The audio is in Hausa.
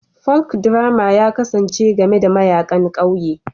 Folkdrama ya kasance game da mayaƙan ƙauye